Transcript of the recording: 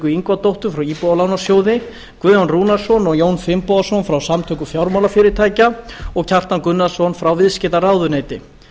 ingvadóttur frá íbúðalánasjóði guðjón rúnarsson og jón finnbogason frá samtökum fjármálafyrirtækja og kjartan gunnarsson frá viðskiptaráðuneyti